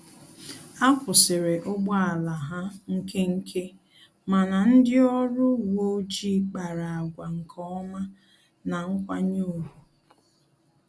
Akwusiri ụgbọ ala ha nkenke, mana ndị ọrụ uwe ọjị kpara àgwà nkeọma na nkwanye ùgwù